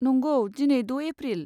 नंगौ, दिनै द' एप्रिल।